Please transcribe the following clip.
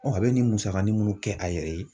a bɛ nin musagani munnu kɛ a yɛrɛ ye.